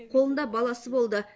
қолында баласы болды